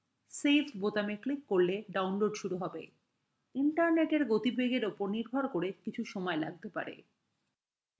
saveবোতামে click করলে download শুরু save internetএর উপর নির্ভর করে কিছু সময় লাগতে পারে